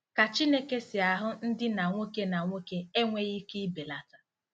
Ka Chineke si ahụ ndinna nwoke na nwoke enweghị ike ịbelata